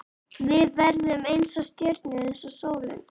Við verðum eins og stjörnur, eins og sólin